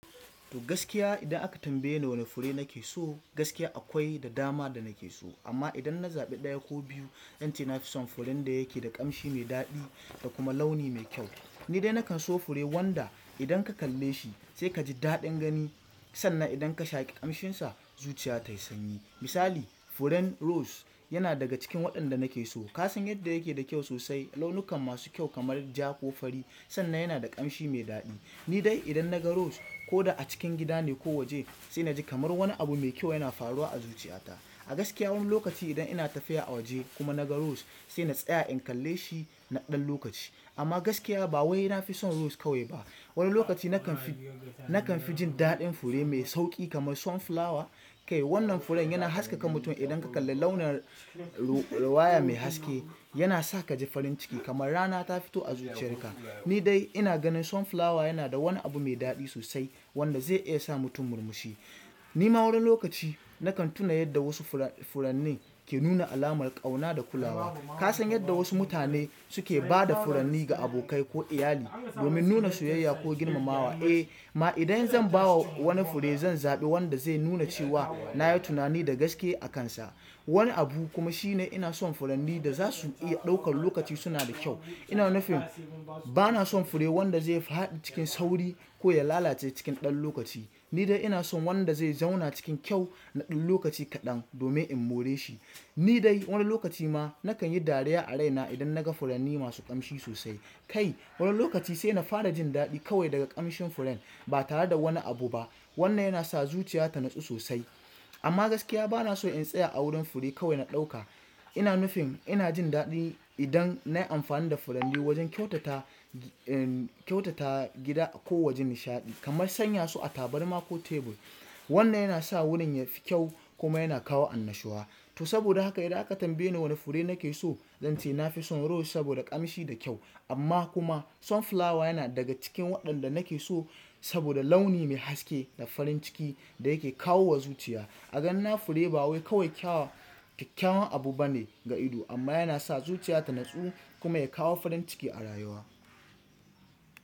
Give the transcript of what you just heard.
To gaskiya idan aka tambaye ni wane fure nake so, gaskiya akwai da dama da nake so amma idan na zaɓi ɗaya ko biyu, zan ce na fi son furen da yake da ƙamshi mai daɗi da kuma launi mai kyau. Ni dai nakanso fure wanda idan ka kalle shi sai kaji daɗin gani sanna idan ka shaƙi ƙamshinsa zuciya tayi sanyi. Misali furen rose yana daga cikin waɗanda nake so. Ka san yadda yake da kyau sosai, launukan masu kyau kamar ja ko fari sannan yana da ƙamshi mai daɗi. Ni dai idan na ga rose koda a cikin gida ne ko waje sai na ji kamar wani abu mai kyau yana faruwa a zuciyata. A gaskiya wani lokaci idan ina tafiya a waje kuma na ga rose sai na tsaya in kalle shi na ɗan lokaci. Amma gaskiya ba wai na fi son rose kawai ba. Wani lokaci nakan fi, nakan fi jin daɗin fure mai sauƙi kamar sunflower. Kai wannan furen yana haskaka mutum idan ka kalla launin ruwaya mai haske, yana sa ka ji farin ciki kamar rana ta fito a zuciyar ka. Ni dai ina ganin sunflower yana da wani abu mai daɗi sosai wanda zai iya sa mutum murmushi. Ni ma wani lokaci nakan tuna yadda wasu furanni ke nuna alamar ƙauna da kulawa. Ka san yadda wasu mutane suke ba da furanni ga abokai ko iyali domin nuna soyayya ko girmamawa? Eh ma idan zan ba wa wani fure zan zaɓi wanda zai nuna cewa na yi tunani da gaske a kansa. Wani abu kuma shine ina son furanni da za su iya ɗaukar lokaci suna da kyau. Ina nufin bana son fure wanda zai faɗi cikin sauri ko ya lalace cikin ɗan lokaci. Ni dai ina son wanda zai zauna cikin kyau na ɗan lokaci kaɗan domin in more shi. Ni dai wani lokaci ma nakan yi dariya a raina idan na ga furanni masu ƙamshi sosai. Kai wani lokaci sai na fara jin daɗi kawai daga ƙamshin furen ba tare da wani abu ba. Wannan yana sa zuciya ta natsu sosai. Amma gaskiya bana so in tsaya a wurin fure kawai na ɗauka. Ina nufin ina jin daɗi idan nayi amfani da furanni wajen kyautata, kyautata gida ko wajen nishaɗi kamar sanya su a tabarma ko tebur. Wannan yana sa wurin yafi kyau kuma yana kawo annashuwa. To saboda haka idan aka tambaye ni wane fure nake so, zan ce na fi son rose saboda ƙamshi da kyau amma kuma sunflower yana daga cikin waɗanda nake so saboda launi mai haske da farin ciki da yake kawo wa zuciya. A ganina fure ba wai kawai kyawawan abu bane ga ido amma yana sa zuciya ta natsu kuma ya kawo farin ciki a rayuwa.